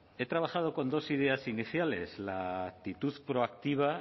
he trabajado con dos ideas iniciales la actitud proactiva